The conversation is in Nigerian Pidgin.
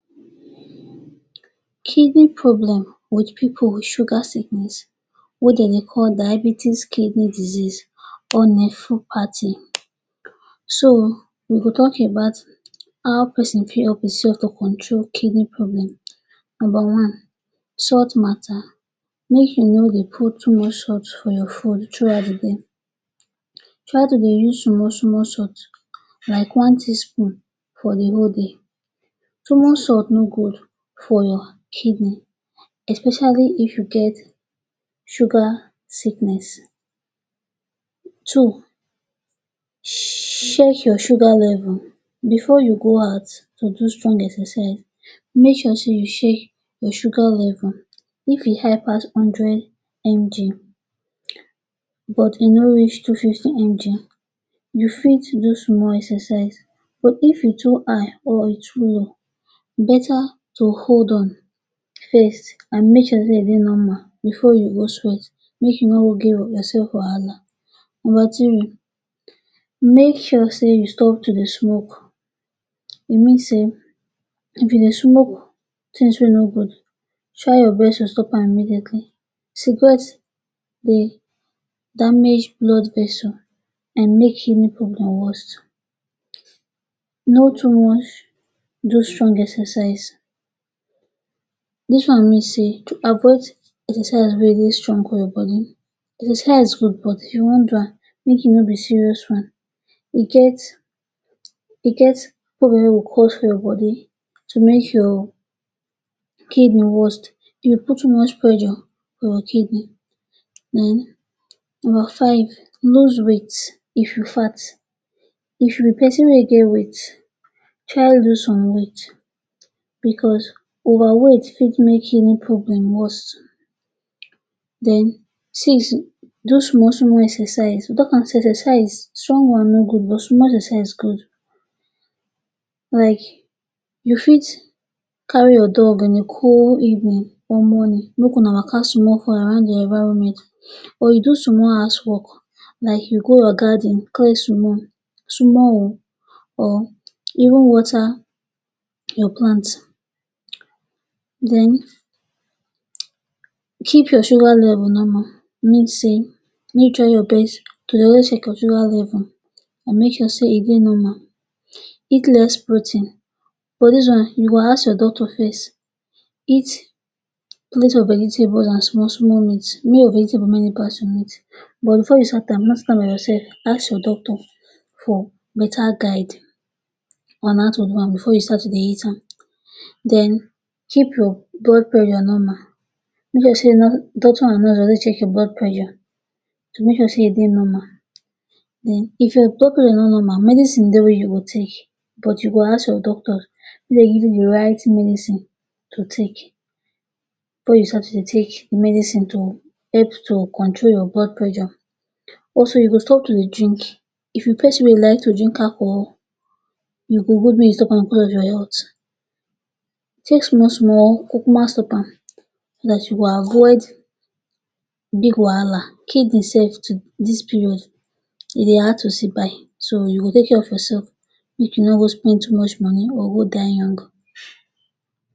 Kidney problem with pipu with sugar sickness wey de dey call diabetes kidney disease. So, we go talk about how pesin fit help einself to control kidney problem. Nomba one - Salt matter: Make you no dey put too much salt for your food throughout the day. Try to dey use small-small salt like one teaspoon for the whole day. Too much salt no good for your kidney, especially if you get sugar sickness. Two - Check your sugar level: Before you go out to do strong exercise, make sure sey you check your sugar level. If e high pass hundred MG but e no reach two fifty MG, you fit do small exercise. But if e too high or e too low, beta to hold on first, an make sure sey e dey normal before you go sweat, make you no go give yoursef wahala. Nomba three - Make sure sey you stop to dey smoke: E mean sey if you dey smoke tins wey no good, try your best to stop am immediately. Cigarette dey damage blood vessel an make kidney problem worst. No too much do strong exercise: Dis one mean sey to avoid exercise wey dey strong for your body. Exercise good but if you wan do am, make e no be serious one. E get e get presure wey go cause for your body to make your kidney worst. E put too much pressure for your kidney. Then nomba five - Lose weight: If you fat, if you be pesin wey get weight, try lose some weight becos overweight fit make kidney problem worst. Then six - Do small-small exercise: We talk am sey exercise, strong one no good but small exercise good. Like you fit carry your dog in a cool evening or morning make una waka small for around your environment or you do small house work like you go your garden, clean small. Small oh, or even water your plant. Then, Keep your sugar level normal: Mean sey make you try your best to dey always check your sugar level an make sure sey e dey normal. Eat less protein: But dis one, you go ask your doctor first. Eat plenty of vegetable an small-small meat. Make your vegetable many pass your meat. But before you start am, no start am by yoursef, ask your doctor for beta guide on how to do am before you start to dey eat am. Then, Keep your blood pressure normal: Make sure sey doctor an nurse dey always check your blood pressure to make sure sey e dey normal. Then if your doctor sey e no normal, medicine dey wey you go take, but you go ask your doctor makee give you the right medicine to take before you start to dey take the medicine to help to control your blood pressure. Also, you go stop to dey drink: If you be pesin wey like to drink alcohol, e go good make you stop am becos of your health. Take small-small or kukuma stop am so dat you go avoid big wahala. Kdney sef to dis period, e dey hard to see buy so you go take of yoursef make you no go spend too much money or go die young.